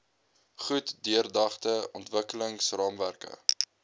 goed deurdagte ontwikkelingsraamwerke